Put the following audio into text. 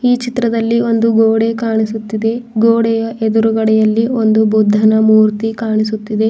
ಚಿತ್ರದಲ್ಲಿ ಒಂದು ಗೋಡೆ ಕಾಣಿಸುತ್ತಿದೆ ಗೋಡೆಯ ಎದುರಲ್ಲಿ ಒಂದು ಬುದ್ಧನ ಮೂರ್ತಿ ಕಾಣಿಸುತ್ತಿದೆ.